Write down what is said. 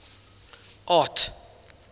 art